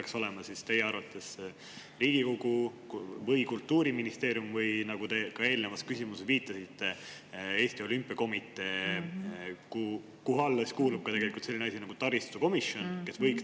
Kas see peaks teie arvates olema Riigikogu või Kultuuriministeerium, või nagu te ka eelnevalt viitasite, Eesti Olümpiakomitee, mille alla kuulub ka selline asi nagu taristukomisjon?